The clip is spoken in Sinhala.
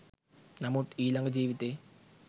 නමුත් ඊළඟ ජීවිතයේ